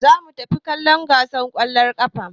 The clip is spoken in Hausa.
Za mu tafi kallon gasar ƙwallon ƙafa.